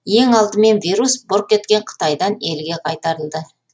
ең алдымен вирус бұрқ еткен қытайдан елге қайтарылды